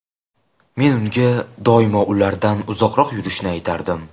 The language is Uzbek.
Men unga doimo ulardan uzoqroq yurishni aytardim.